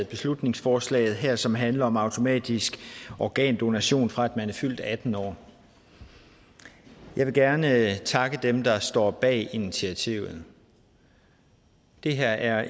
beslutningsforslaget her som handler om automatisk organdonation fra man er fyldt atten år jeg vil gerne takke dem der står bag initiativet det her er